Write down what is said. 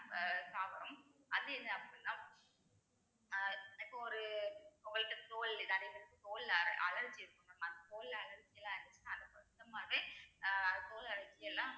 அஹ் தாவரம் அது என்ன அப்படின்னா அஹ் இப்போ ஒரு உங்களுக்கு தோல் தோல் aller~ allergy இருக்கு mam தோல்ல allergy மொத்தமாவே அந்த தோல் allergy எல்லாம்